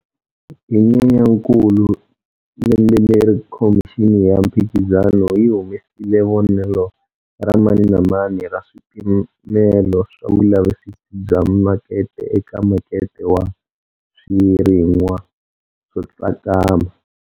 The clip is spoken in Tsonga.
Hi Nyenyakulu lembe leri Khomixini ya Mphikizano yi humesile vonelo ra mani na mani ra swipimelo swa vulavisisi bya makete eka makete wa swirin'wa swo tsakama.